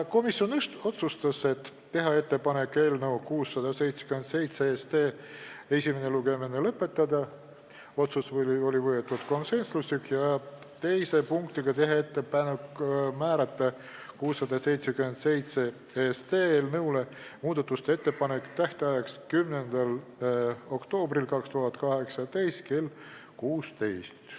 Komisjon otsustas teha ettepaneku eelnõu 677 esimene lugemine lõpetada ja teise punktiga teha ettepaneku määrata eelnõu 677 muudatusettepanekute tähtajaks 10. oktoober 2018 kell 16.